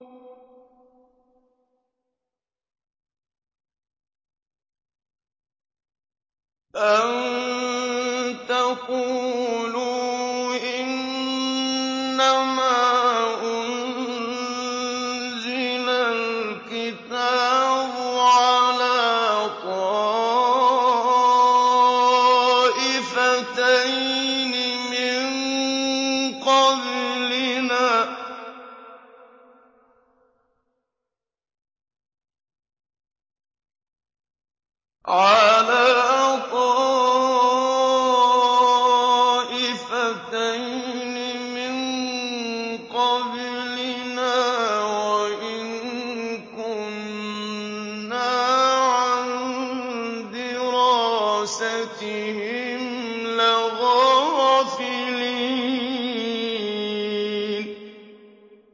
أَن تَقُولُوا إِنَّمَا أُنزِلَ الْكِتَابُ عَلَىٰ طَائِفَتَيْنِ مِن قَبْلِنَا وَإِن كُنَّا عَن دِرَاسَتِهِمْ لَغَافِلِينَ